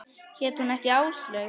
Hét hún ekki Áslaug?